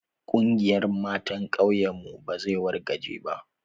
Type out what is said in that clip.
Ƙungiyan matan ƙauyen mu ba zai wargaje ba.